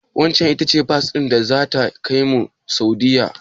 Waccen ita ce bas din da zata kaimu Saudiyya?